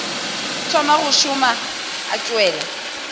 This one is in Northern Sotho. thoma go šoma o tšwela